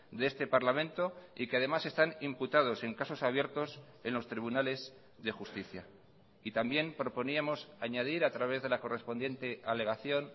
de este parlamento y que además están imputados en casos abiertos en los tribunales de justicia y también proponíamos añadir a través de la correspondiente alegación